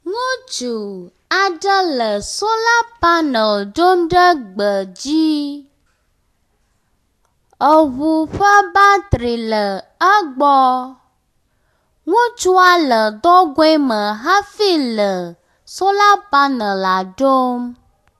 ŋutsu aɖe le sola panel ɖom ɖe gbe dzí, eʋu ƒe batri le egbɔ, ŋutsua le dɔgoeme hafi le sola panela ɖɔm